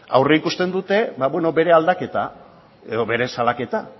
aurreikusten dute bere aldaketa edo bere salaketa